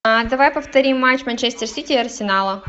давай повторим матч манчестер сити и арсенала